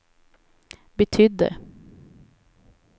betydde